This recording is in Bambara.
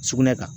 Sugunɛ kan